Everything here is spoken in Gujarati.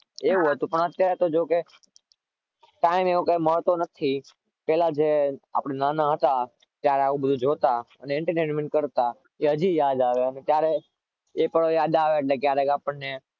એવું હતું પણ અત્યારે તો જો કે time એવો કોઈ મહત્વ નથી પેહલા આપણે નાના હતા ત્યારે આપણે આ બધું જોતા અને entertainment કરતા એ હજી યાદ આવે છે એ પણ યાદ આવે ક્યારે આપણને